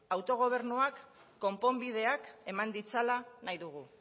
autogobernuak konponbideak eman ditzala nahi dugu